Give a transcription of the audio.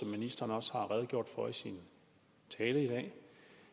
ministeren også redegjorde for i sin tale i dag